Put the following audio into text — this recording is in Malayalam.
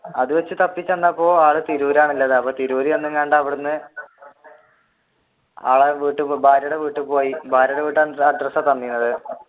അത് വെച്ച് തപ്പി ചെന്നപ്പോൾ ആൾ തിരൂരാണുള്ളത് അവിടെന്ന് ഭാര്യയുടെ വീട്ടിൽ പോയി ഭാര്യയുടെ വീട്ടിലെ അഡ്രെസ്സ് ആണ് തന്നിരുന്നത്.